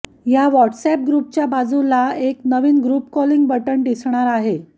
या व्हॉट्सअॅप ग्रुपच्या बाजुला एक नवीन ग्रुप कॉलिंग बटन दिसणार आहे